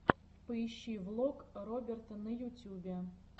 поищи влог роберта на ютюбе